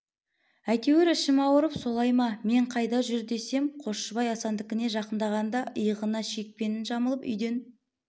әйтеуір ішім ауырып солай ма мен қайда жүр десем қосшыбай асандікіне жақындағанда иығына шекпенін жамылып үйден